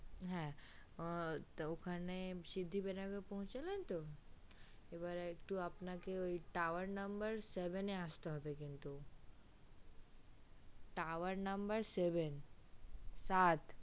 হ্যা তো ঐখানে সিদ্ধিবিনায়ক পৌঁছেলেন তো এবার একটু আপনাকে ঐ tower number seven এ আসতে হবে কিন্তু tower number seven ঐ